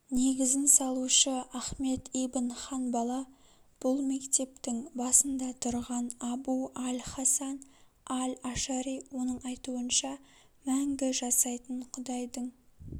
негізін салушы ахмет ибн ханбала бұл мектептің басында тұрған абу-аль-хасан аль-ашари оның айтуынша мәңгі жасайтын құдайдың